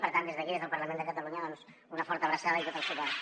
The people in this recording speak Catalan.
per tant des d’aquí des del parlament de catalunya una forta abraçada i tot el suport